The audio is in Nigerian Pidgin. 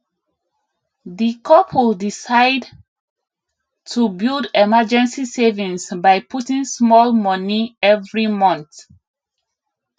di couple decide to build emergency savings by putting small money every month